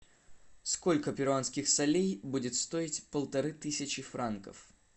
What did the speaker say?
сколько перуанских солей будет стоить полторы тысячи франков